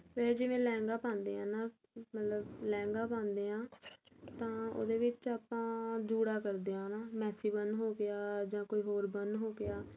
ਫੇਰ ਜਿਵੇਂ ਲਹਿੰਗਾ ਪਾਂਦੇ ਆ ਨਾ ਮਤਲਬ ਲਹਿੰਗਾ ਪਾਂਦੇ ਆ ਤਾਂ ਉਹਦੇ ਵਿੱਚ ਆਪਾਂ ਜੂੜਾ ਕਰਦੇ ਨਾ Mexican ਹੋ ਗਿਆ ਜਾਂ ਕੋਈ ਹੋਰ ਬਣ ਹੋ ਗਿਆ